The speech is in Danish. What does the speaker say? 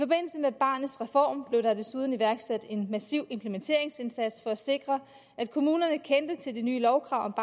med barnets reform blev der desuden iværksat en massiv implementeringsindsats for at sikre at kommunerne kendte til de nye lovkrav